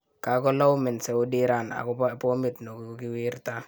kakolaumen Saudi Iran akopo pomit nekokiwirta